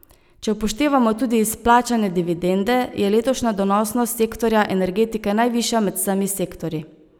Če upoštevamo tudi izplačane dividende, je letošnja donosnost sektorja energetike najvišja med vsemi sektorji.